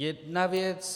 Jedna věc.